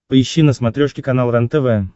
поищи на смотрешке канал рентв